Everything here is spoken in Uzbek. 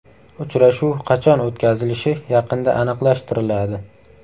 Uchrashuv qachon o‘tkazilishi yaqinda aniqlashtiriladi.